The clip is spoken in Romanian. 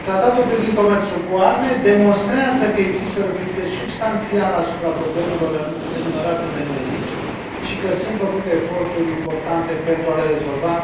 Tratatul privind comerțul cu arme demonstrează că există o reflecție substanțială asupra problemelor enumerate de noi aici și că sunt făcute eforturi importante pentru a le rezolva.